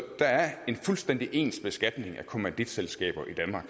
der er en fuldstændig ens beskatning af kommanditselskaber i danmark